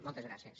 moltes gràcies